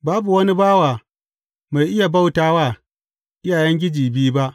Babu wani bawa mai iya bauta wa iyayengiji biyu ba.